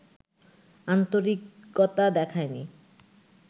আন্তরিকতা দেখায় নি